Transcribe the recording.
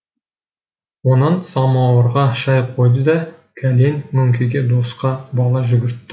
онан самауырға шай қойды да кәлен мөңкеге досқа бала жүгіртті